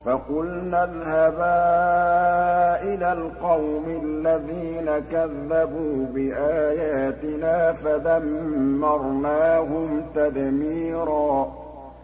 فَقُلْنَا اذْهَبَا إِلَى الْقَوْمِ الَّذِينَ كَذَّبُوا بِآيَاتِنَا فَدَمَّرْنَاهُمْ تَدْمِيرًا